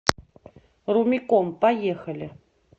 румиком поехали